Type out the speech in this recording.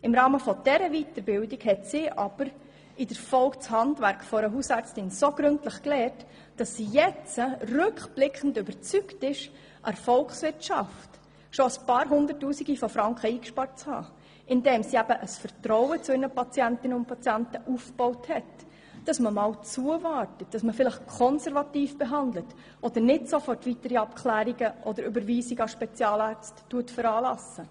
Im Rahmen dieser Weiterbildung hat sie das Handwerk einer Hausärztin so gründlich gelernt, dass sie rückblickend überzeugt ist, der Volkswirtschaft bereits einige hunderttausend Franken eingespart zu haben, indem sie ein Vertrauen zu ihren Patientinnen und Patienten aufbaut und auch einmal zuwartet und konservativ behandelt und nicht sofort weitere Abklärungen oder Überweisungen an Spezialärzte veranlasst.